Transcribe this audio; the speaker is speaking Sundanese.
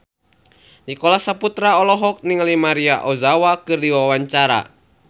Nicholas Saputra olohok ningali Maria Ozawa keur diwawancara